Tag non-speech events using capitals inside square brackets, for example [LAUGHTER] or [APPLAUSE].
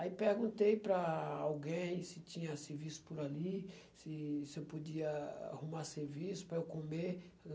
Aí, perguntei para alguém se tinha serviço por ali, se se eu podia arrumar serviço para eu comer. [UNINTELLIGIBLE]